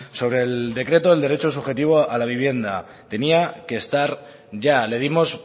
sobre el decreto del derecho subjetivo a la vivienda tenía que estar ya le dimos